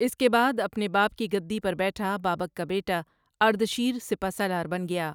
اس کے بعد اپنے باپ کی گدی پربیٹھا بابک کا بیٹا اردشیر سپہ سالار بن گیا ۔